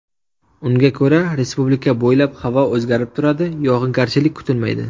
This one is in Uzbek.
Unga ko‘ra, Respublika bo‘ylab havo o‘zgarib turadi, yog‘ingarchilik kutilmaydi.